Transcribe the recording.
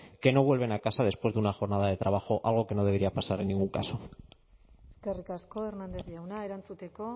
que no vuelven a casa después de una jornada de trabajo algo que no debería pasar en ningún caso eskerrik asko hernández jauna erantzuteko